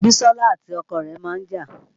Bisola àti ọkọ rẹ̀ máa ń jà